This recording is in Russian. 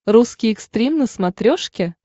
русский экстрим на смотрешке